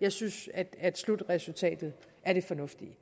jeg synes at at slutresultatet er fornuftigt